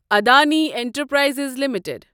Adani enterprises limited